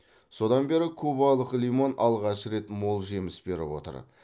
содан бері кубалық лимон алғаш рет мол жеміс беріп отыр